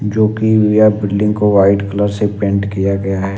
जो कि India building को व्हाइट कलर से पेंट किया गया है।